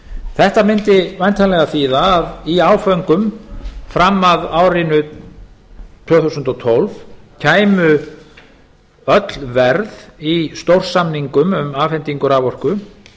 þetta mundi væntanlega þýða að í áföngum fram að árinu tvö þúsund og tólf kæmu öll verð í stórsamningum um afhendingu raforku